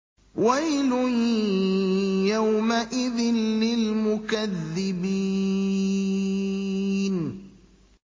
وَيْلٌ يَوْمَئِذٍ لِّلْمُكَذِّبِينَ